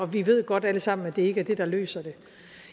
vi ved godt alle sammen at det ikke det der løser det